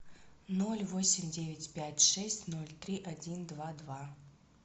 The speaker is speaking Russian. ноль восемь девять пять шесть ноль три один два два